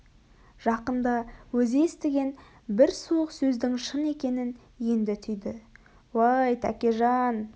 жақында өзі естіген бір суық сөздің шын екенін енді түйді уәй тәкежан